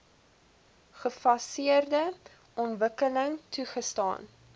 gefaseerde ontwikkeling toegestaan